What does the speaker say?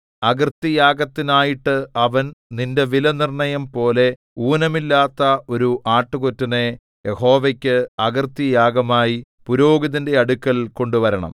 അകൃത്യയാഗത്തിനായിട്ട് അവൻ നിന്റെ വിലനിർണ്ണയം പോലെ ഊനമില്ലാത്ത ഒരു ആട്ടുകൊറ്റനെ യഹോവയ്ക്ക് അകൃത്യയാഗമായി പുരോഹിതന്റെ അടുക്കൽ കൊണ്ടുവരണം